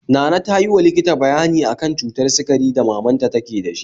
Nana tayi wa likita bayani akan cutar sikari da mamanta ke dashi